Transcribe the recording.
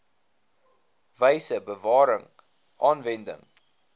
wyse bewaring aanwending